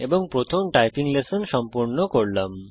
এবং প্রথম typing session সম্পূর্ণ করলাম